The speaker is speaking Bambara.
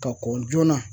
Ka kɔn joona